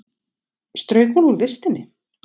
Strauk hún úr vistinni?